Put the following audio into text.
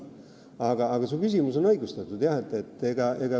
Aga jah, su küsimus on õigustatud.